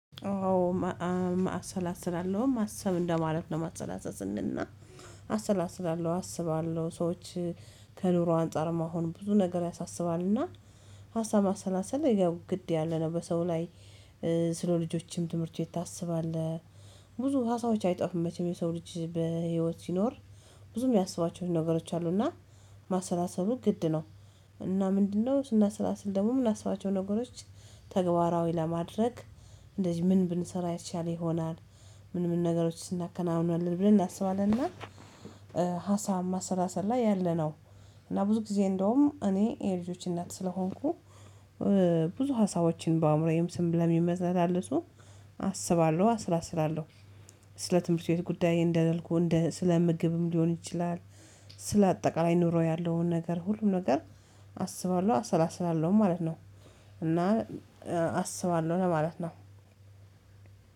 አዎ። መአት ሰላሰላለሁ ማሰብ እንደማለት ነው ማሰላሰሰል ስንል ና አሰላስላለሁ አስባለሁ ሰዎች ከኑሮ አንፃር መሆን ብዙ ነገር ያሳስባልና ሀሳብ ማሰላሰል ግድ ያለ ነው በሰው ላይ። ስለ ልጆችም ትምህርት ቤት ታስባለህ? ብዙ ሀሳቦች አይጠፉም መቼም የሰው ልጅ በህይወት ሲኖር ብዙም ሚያሰባቸው ነገሮች አሉና ማሰላሰሉ ግድ ነው። እና ምንድነው ስናሰላስል ደግሞ ምናስባቸው ነገሮች ተግባራዊ ለማድረግ እንደዚህ ምን ብንሰራ የተሻለ ይሆናል? ምን ምን ነገሮች እናከናውናለን ብለን እናስባለንና። ሀሳብ ማሰላሰል ላይ ያለ ነው። እና ብዙ ጊዜ እንደውም እኔ የልጆች እናት ስለሆንኩ ብዙ ሀሳቦችን በአእምሮዬም ስም የሚመዘላለሱ አስባለሁ አስላስላለሁ። ስለ ትምህርት ቤት ጉዳይ እንደለልኩ እንደ ስለ ምግብም ሊሆን ይችላል። ስለ አጠቃላይ ኑሮ ያለውን ነገር ሁሉም ነገር አስባለሁ አሰላስላለሁ ማለት ነው። እና አስባለሁ ለማለት ነው።